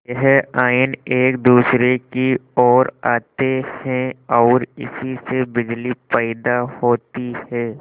यह आयन एक दूसरे की ओर आते हैं ओर इसी से बिजली पैदा होती है